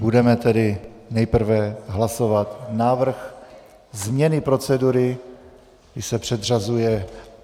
Budeme tedy nejprve hlasovat návrh změny procedury, kdy se předřazuje...